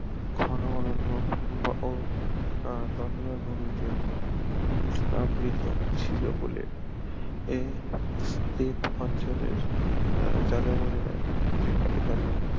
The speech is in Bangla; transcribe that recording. ঘন অরণ্য ও আহ তন্দ্রাভূমিতে আবৃত ছিল বলে এ স্টেপ অঞ্চলের আহ যাযাবরেরা এখানে